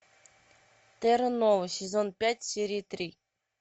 терра нова сезон пять серия три